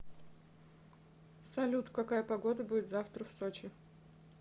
салют какая погода будет завтра в сочи